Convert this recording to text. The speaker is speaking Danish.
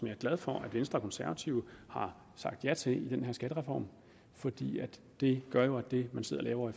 er glad for at venstre og konservative har sagt ja til i den her skattereform for det gør jo at det man sidder og laver